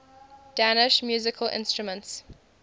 danish musical instruments